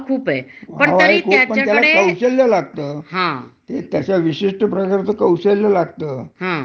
हं. तो काही बारा महिने, नाही ठराविक काम. हो बारा महिने अगदी अस नाही. पण त्याच्यामुळ, पण